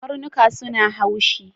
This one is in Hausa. Karnuka suna haushi.